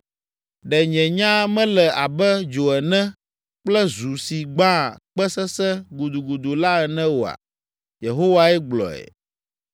“Ɖe nye nya mele abe dzo ene kple zu si gbãa kpe sesẽ gudugudu la ene oa?” Yehowae gblɔ.